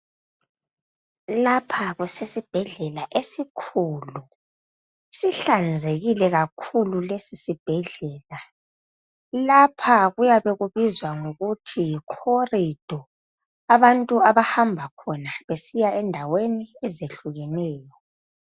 Lapha kusesibhedlela esikhulu, sihlanzekile kakhulu lesi sibhedlela. Lapha kuyabe kubizwa ngokuthi "corridor ",abantu abahamba khona besiya endaweni ezehlukeneyo.